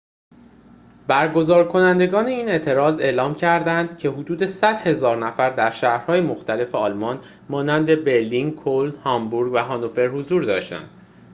برگزارکنندگان این اعتراض اعلام کرددند که حدود ۱۰۰,۰۰۰ نفر در شهرهای مختلف آلمان مانند برلین کلن هامبورگ و هانوفر حضور داشتند